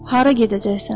Hara gedəcəksən?